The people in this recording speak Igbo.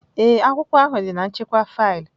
Ee, akwụkwọ ahụ dị na nchekwa faịlụ